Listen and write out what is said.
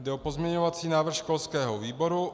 Jde o pozměňovací návrh školského výboru.